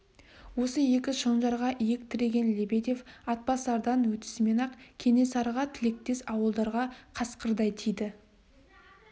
осы екі шонжарға иек тіреген лебедев атбасардан өтісімен-ақ кенесарыға тілектес ауылдарға қасқырдай тиді